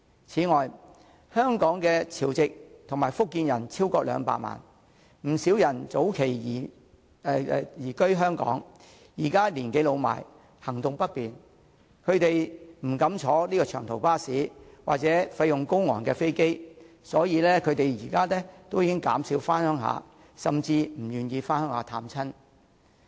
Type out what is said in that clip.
此外，香港的潮籍及福建人超過200萬，不少人早期已移居香港，現時年紀老邁，行動不便，他們不敢乘坐長途巴士或費用高昂的飛機，所以減少回鄉甚至不願回鄉探親。